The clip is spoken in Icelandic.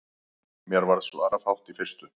Mér varð svarafátt í fyrstu.